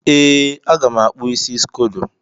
Ee, a ga m akpụ isi scodo.